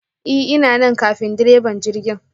I ,ina anan ƙafin ɗireba jirgi!